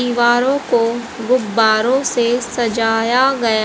दीवारों को गुब्बारों से सजाया गया --